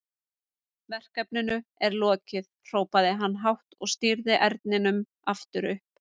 Verkefninu er lokið, hrópaði hann hátt og stýrði erninum upp aftur.